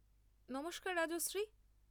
নমস্কার রাজশ্রী।